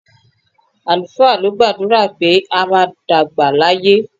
Àlùfáà ló gbàdúrà pé a máa dàgbà láyé.